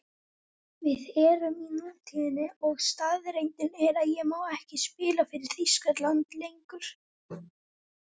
Við erum í nútíðinni og staðreyndin er að ég má ekki spila fyrir Þýskaland lengur.